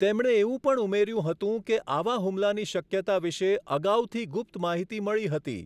તેમણે એવું પણ ઉમેર્યું હતું કે આવા હુમલાની શક્યતા વિષે અગાઉથી ગુપ્ત માહિતી મળી હતી.